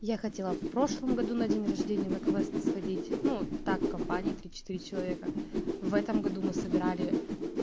я хотела в прошлом году на день рождения на квест сходить ну так компанией три-четыре человека в этом году мы собирали